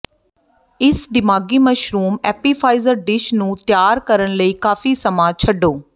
ਇਸ ਦਿਮਾਗੀ mushroom appetizer dish ਨੂੰ ਤਿਆਰ ਕਰਨ ਲਈ ਕਾਫ਼ੀ ਸਮਾਂ ਛੱਡੋ